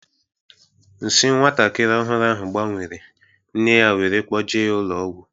Nsi nwatakịrị ahu gbanwere, nne ya wéré kpoje ya ụlọ ọgwụ